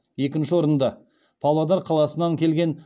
екінші орынды павлодар қаласынан келген